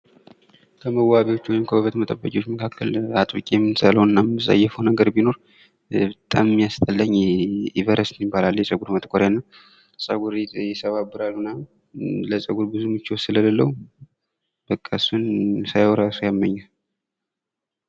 ከመዋቢያዎች ወይም ከውበት መጠበቂያዎች መካከል አጥብቄ የምጠላውና የምጸየፈው ነገር ቢኖር በጣም የሚያስጠላኝ ኢቨረስት የሚባል አለ። የጸጉር ማጥቆሪያ ነው። ጸጉር ይሰባብራል ምናምን ለጸጉር ብዙ ምቾት ስለሌለው በቃ እሱን ሳየው እራሱ ያመኛል።